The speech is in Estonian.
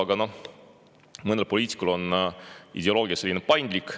Aga noh, mõnel poliitikul on ideoloogia selline paindlik.